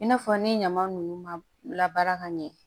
I n'a fɔ ni ɲama ninnu ma labaara ka ɲɛ